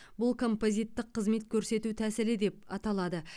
бұл композиттік қызмет көрсету тәсілі деп аталады